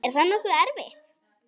Er það nokkuð erfitt?